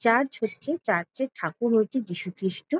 Church হচ্ছে চার্চে র ঠাকুর হচ্ছে যিশুখ্রিস্ট।